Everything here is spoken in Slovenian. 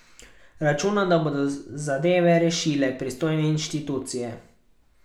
Računa, da bodo zadeve rešile pristojne inštitucije.